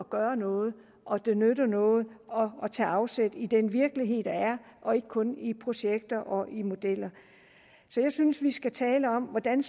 gøre noget og at det nytter noget at tage afsæt i den virkelighed der er og ikke kun i projekter og i modeller så jeg synes vi skal tale om hvordan